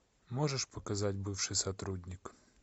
можешь показать бывший сотрудник